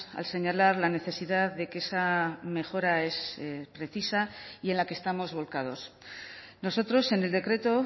al señalar la necesidad de que esa mejora es precisa y en la que estamos volcados nosotros en el decreto